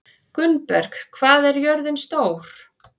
Gunnberg, hvað er jörðin stór?